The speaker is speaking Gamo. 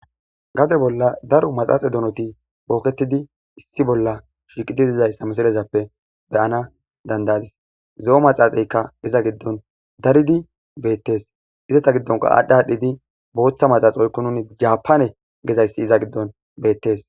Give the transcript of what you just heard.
Gade bolla daro maxaaxe donoti booketidi issi bolla shiiqidi dizayssa misilezappe beyana dandayadis zo,o maxaaxeykka iza giddon daridi beettes izata giddonka aadhdha adhdhidi booththa maxaxi oykko nuni jaapane gezayssi iza giddon beettes.